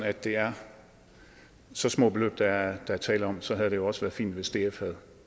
at det er så små beløb der er tale om så havde det jo også været fint hvis df